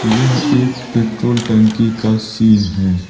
यह एक पेट्रोल टंकी का सीन है।